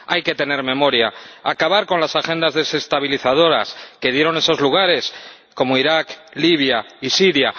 Hay que tener memoria acabar con las agendas desestabilizadoras que se emplearon en lugares como Irak, Libia y Siria.